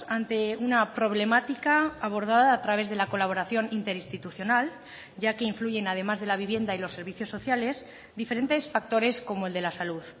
ante una problemática abordada a través de la colaboración interinstitucional ya que influyen además de la vivienda y los servicios sociales diferentes factores como el de la salud